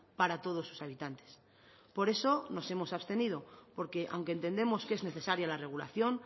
para todos sus habitantes por eso nos hemos abstenido porque aunque entendemos que es necesaria la regulación